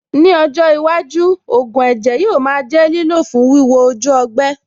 Ní ọjọ́ iwájú, ògùn ẹ̀jẹ̀ yóò máa jẹ́ lílò fún wíwo ojú ọgbẹ́.